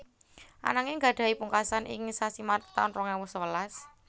Ananging gadhahi pungkasan ing sasi Maret taun rong ewu sewelas